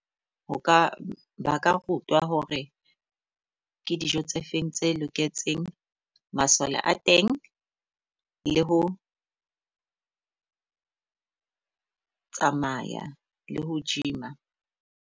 Ho ka ba ka rutwa hore ke dijo tse feng tse loketseng masole a teng le ho tsamaya le ho gym-a.